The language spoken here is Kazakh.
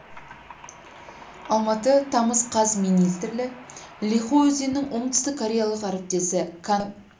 алматы тамыз қаз министрі ли хо өзінің оңтүстік кореялық әріптесі кан хваның екі ел арасындағы